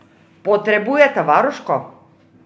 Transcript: Potrebujeta varuško!